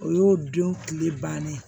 O y'o don tile bannen ye